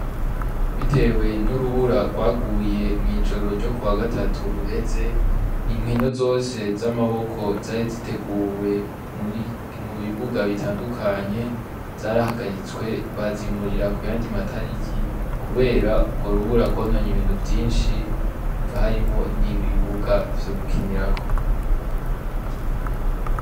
Bitewe n'urubura rwaguye mw'ijoro ryo k wa gatatu uheze inkino zose z'amaboko zari ziteguwe mimu bibuga bitandukanye zarahagaritswe bazimurira ku yandimatariki, kubera urwo rubura agononye ibintu vyinshi biva harimo n'ibibuwa vyo gukinirako.